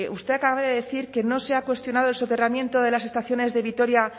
usted acaba de decir que no se ha cuestionado el soterramiento de las estaciones de vitoria